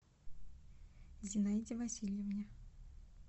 зинаиде васильевне